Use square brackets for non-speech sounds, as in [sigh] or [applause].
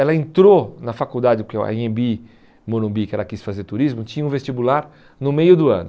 Ela entrou na faculdade, porque a [unintelligible] Morumbi, que ela quis fazer turismo, tinha um vestibular no meio do ano.